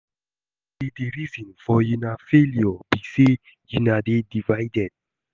You no know say the reason for una failure be say una dey divided